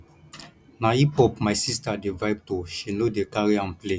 na hiphop my sista dey vibe to she no dey carry am play